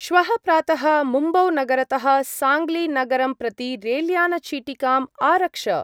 श्वः प्रातः मुम्बौ-नगरतः साङ्ग्लि-नगरं प्रति रेल्यान-चीटिकाम् आरक्ष।